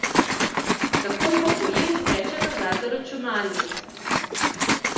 Takoj ko poje, steče nazaj za računalnik.